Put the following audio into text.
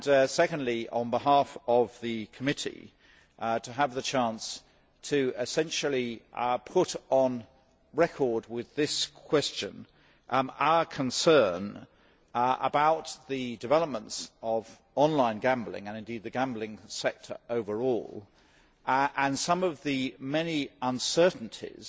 Secondly, on behalf of the committee, to have the chance essentially to put on record with this question our concern about the developments of online gambling, and indeed the gambling sector overall and some of the many uncertainties